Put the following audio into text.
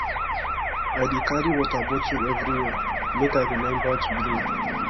i dey carry water bottle everywhere make i rememba to drink